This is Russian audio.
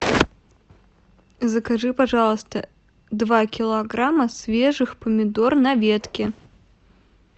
закажи пожалуйста два килограмма свежих помидор на ветке